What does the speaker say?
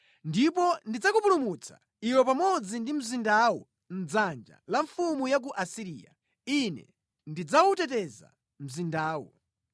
Ndipo ndidzakupulumutsa, iwe pamodzi ndi mzindawu mʼdzanja la mfumu ya ku Asiriya, Ine ndidzawuteteza mzindawu.